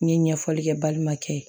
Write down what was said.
N ye ɲɛfɔli kɛ balima kɛ ye